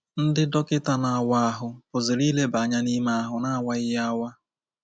Ndị dọkịta na-awa ahụ pụziri ileba anya n’ime ahụ n’awaghị ya awa.